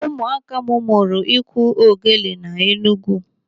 Ụmụaka m mụrụ iku ogele n'Enugwu.